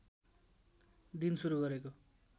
दिन सुरु गरेको